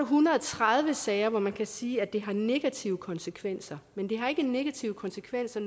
hundrede og tredive sager hvor man kan sige at det har negative konsekvenser men det har ikke nødvendigvis negative konsekvenser